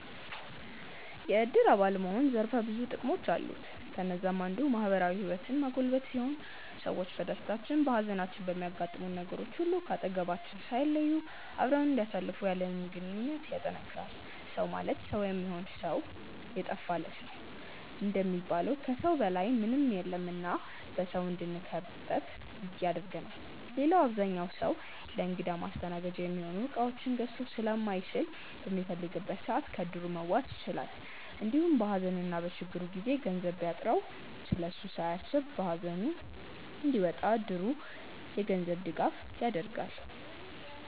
የዕድር አባል መሆን ዘርፈ ብዙ ጥቅሞች አሉት። ከነዛም አንዱ ማህበራዊ ህይወትን ማጎልበት ሲሆን ሰዎች በደስታችን፣ በሃዘናችን፣ በሚያጋጥሙን ነገሮች ሁሉ ከአጠገባችን ሳይለዩ አብረውን እንዲያሳልፉ ያለንን ግንኙነት ያጠነክራል። “ሰው ማለት ሰው የሚሆን ነው ሰው የጠፋ ለት” እንደሚባለው ከሰው በላይ ምንም የለም እና በሰው እንድንከበብ ያደርገናል። ሌላው አብዛኛው ሰው ለእንግዳ ማስተናገጃ የሚሆኑ እቃዎችን ገዝቶ ስለማይችል በሚፈልግበት ሰዓት ከዕድሩ መዋስ ይችላል። እንዲሁም በሃዘንና በችግሩ ጊዜ ገንዘብ ቢያጥረው ስለሱ ሳያስብ ሃዘኑን እንዲወጣ እድሩ የገንዘብ ድጋፍ ያደርጋል።